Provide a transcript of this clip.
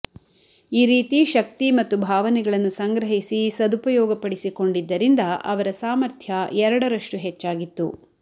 ಈ ರೀತಿ ಶಕ್ತಿ ಮತ್ತು ಭಾವನೆಗಳನ್ನು ಸಂಗ್ರಹಿಸಿ ಸದುಪಯೋಗಪಡಿಸಿಕೊಂಡಿದ್ದರಿಂದ ಅವರ ಸಾಮಥ್ರ್ಯ ಎರಡರಷ್ಟು ಹೆಚ್ಚಾಗಿತ್ತು